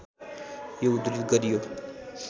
यो उद्धृत गरियो